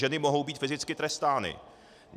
Ženy mohou být fyzicky trestány.